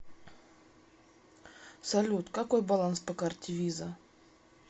салют какой баланс по карте виза